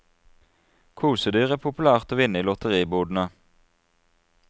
Kosedyr er populært å vinne i lotteribodene.